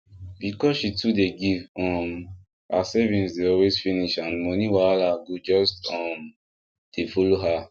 because she too dey give um her savings dey always finish and money wahala go just um dey follow her